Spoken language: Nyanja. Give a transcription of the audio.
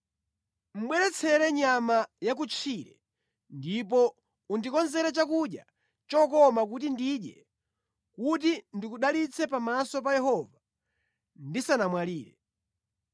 ‘Bweretsere nyama yakutchire ndipo undikonzere chakudya chokoma kuti ndidye; kuti ndikudalitse pamaso pa Yehova ndisanamwalire.’